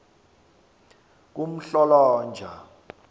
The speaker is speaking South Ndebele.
kumhlolonja